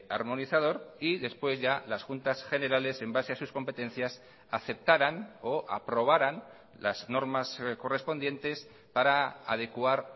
armonizador y después ya las juntas generales en base a sus competencias aceptaran o aprobarán las normas correspondientes para adecuar